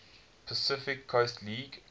pacific coast league